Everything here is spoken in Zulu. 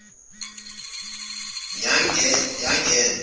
yangena